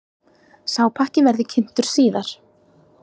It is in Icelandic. Sá pakki verði kynntur síðar.